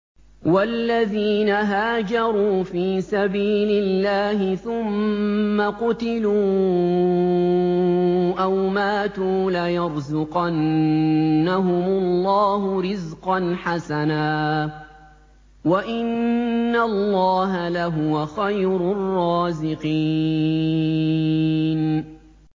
وَالَّذِينَ هَاجَرُوا فِي سَبِيلِ اللَّهِ ثُمَّ قُتِلُوا أَوْ مَاتُوا لَيَرْزُقَنَّهُمُ اللَّهُ رِزْقًا حَسَنًا ۚ وَإِنَّ اللَّهَ لَهُوَ خَيْرُ الرَّازِقِينَ